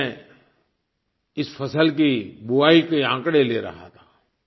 अभी मैं इस फ़सल की बुआई के आँकड़े ले रहा था